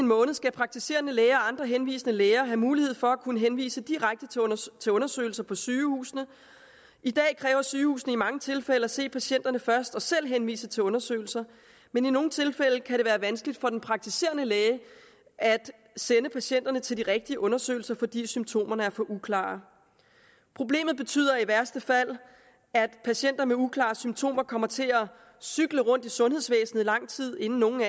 måned skal praktiserende læger og andre henvisende læger have mulighed for at kunne henvise direkte til undersøgelser på sygehusene i dag kræver sygehusene i mange tilfælde at se patienterne først og selv henvise til undersøgelser men i nogle tilfælde kan det være vanskeligt for den praktiserende læge at sende patienterne til de rigtige undersøgelser fordi symptomerne er for uklare problemet betyder i værste fald at patienter med uklare symptomer kommer til at cykle rundt i sundhedsvæsenet i lang tid inden nogen